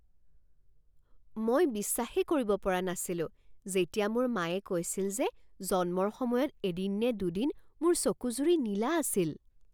মই বিশ্বাসেই কৰিব পৰা নাছিলোঁ যেতিয়া মোৰ মায়ে কৈছিল যে জন্মৰ সময়ত এদিন নে দুদিন মোৰ চকুযুৰি নীলা আছিল।